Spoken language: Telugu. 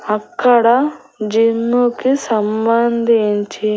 అక్కడ జిమ్ము కి సంభందించి--